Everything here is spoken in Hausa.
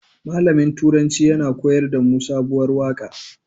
Malamin turanci ya koyar damu sabuwar waƙa